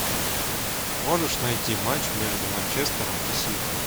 можешь найти матч между манчестером и сити